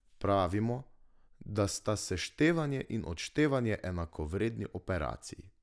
Pravimo, da sta seštevanje in odštevanje enakovredni operaciji.